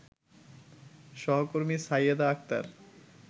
সহকর্মী সাইয়েদা আক্তার